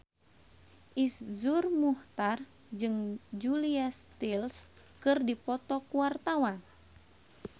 Iszur Muchtar jeung Julia Stiles keur dipoto ku wartawan